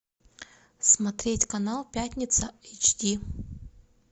смотреть канал пятница эйч ди